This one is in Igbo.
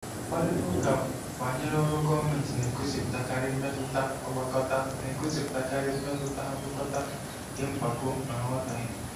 Mkparịta ụka banyere ọrụ gọọmentị na-egosipụtakarị mmetụta agwakọta na-egosipụtakarị mmetụta agwakọta nke mpako na nghọtahie.